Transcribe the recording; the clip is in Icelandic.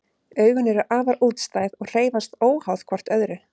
Augun eru afar útstæð og hreyfast óháð hvort öðru.